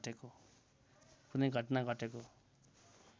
कुनै घटना घटेको